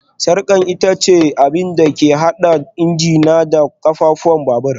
Sarkar ita ce abin da ke haɗa injina da ƙafafun babur